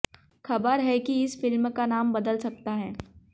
खबर है कि इस फिल्म का नाम बदल सकता है